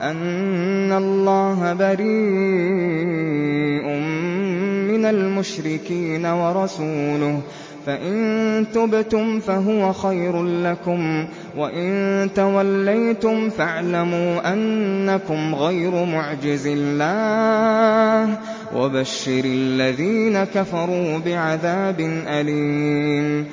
أَنَّ اللَّهَ بَرِيءٌ مِّنَ الْمُشْرِكِينَ ۙ وَرَسُولُهُ ۚ فَإِن تُبْتُمْ فَهُوَ خَيْرٌ لَّكُمْ ۖ وَإِن تَوَلَّيْتُمْ فَاعْلَمُوا أَنَّكُمْ غَيْرُ مُعْجِزِي اللَّهِ ۗ وَبَشِّرِ الَّذِينَ كَفَرُوا بِعَذَابٍ أَلِيمٍ